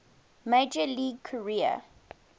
major league career